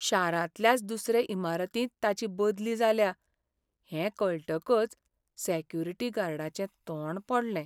शारांतल्याच दुसरे इमारतींत ताची बदली जाल्या हें कळटकच सॅक्युरीटी गार्डाचें तोंड पडलें.